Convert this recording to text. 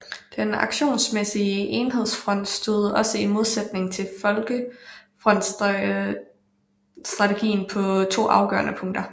Den aktionsmæssige enhedsfront stod også i modsætning til folkefrontsstrategien på to afgørende punkter